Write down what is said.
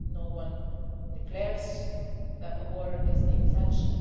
No one declares that a war is the intention.